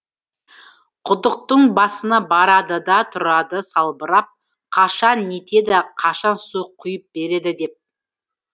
құдықтың басына барады да тұрады салбырап қашан нетеді қашан су құйып береді деп